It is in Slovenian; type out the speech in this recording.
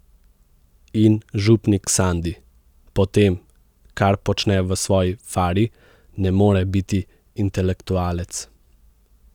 In župnik Sandi, po tem, kar počne v svoji fari, ne more biti intelektualec.